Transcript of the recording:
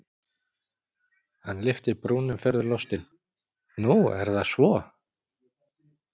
Hann lyfti brúnum furðulostinn:-Nú er það svo?